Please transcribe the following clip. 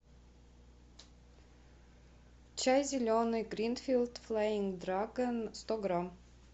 чай зеленый гринфилд флаинг драгон сто грамм